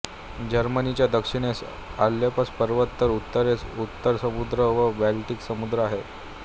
जर्मनीच्या दक्षिणेस आल्प्स पर्वत तर उत्तरेस उत्तर समुद्र व बाल्टिक समुद्र आहेत